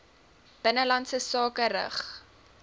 binnelandse sake rig